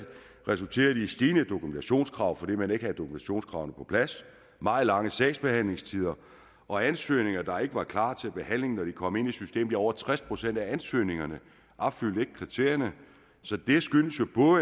resulteret i stigende dokumentationskrav fordi man ikke havde dokumentationskravene på plads meget lange sagsbehandlingstider og ansøgninger der ikke var klar til behandling når de kom ind i systemet ja over tres procent af ansøgningerne opfyldte ikke kriterierne så det skyldes jo